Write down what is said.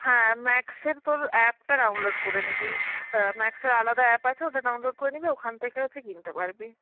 হ্যাঁ Max এর তোর app টা download করে নিবি. অ্যাঁ Max এর আলাদা app আছে ওটা download করে নিবি, ওখান থেকে হচ্ছে কিনতে পারবি.